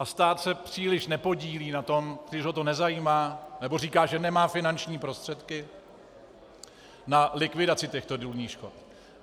A stát se příliš nepodílí na tom, spíš ho to nezajímá nebo říká, že nemá finanční prostředky na likvidaci těchto důlních škod.